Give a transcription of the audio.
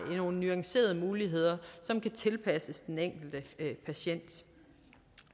nogle nuancerede muligheder som kan tilpasses den enkelte patient